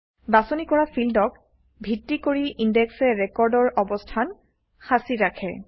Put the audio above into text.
বাছনি কৰা ফিল্ডক ভিত্তি কৰি ইনডেক্সে ৰেকৰ্ডৰ অৱস্থান সাঁচি ৰাখে